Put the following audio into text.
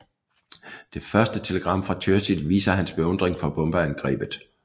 Det første telegram fra Churchill viser hans beundring for bombeangrebet